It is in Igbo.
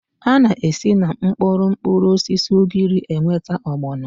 A na-esi na mkpụrụ mkpụrụosisi ugiri enweta ọgbọnọ